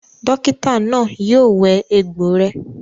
Dókítà náà yio wẹ egbò rẹ